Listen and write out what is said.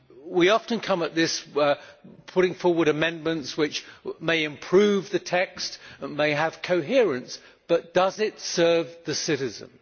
We often approach things by putting forward amendments, which may improve the text and may have coherence, but does it serve the citizen?